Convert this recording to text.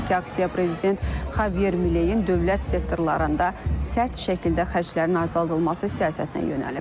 Qeyd edək ki, aksiya prezident Xavyer Mileyn dövlət sektorlarında sərt şəkildə xərclərin azaldılması siyasətinə yönəlib.